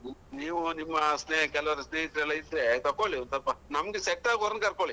ನೋಡಿ ನೀವು ನಿಮ್ಮ ಸ್ನೇಹ ಕೆಲವರ ಸ್ನೇಹಿತರೆಲ್ಲಾ ಇದ್ರೆ ತಕೊಳ್ಳಿ ಒಂದು ಸ್ವಲ್ಪ ನಮ್ಗೆ set ಆಗುವರೆಗೆ ಕರ್ಕೊಳ್ಳಿ.